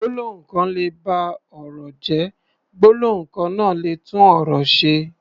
Gbólóhùn kan lè ba ọ̀rọ̀ jẹ́, gbólóhùn kan náà lè tún ọ̀rọ̀ ṣe.